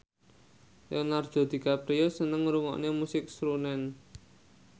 Leonardo DiCaprio seneng ngrungokne musik srunen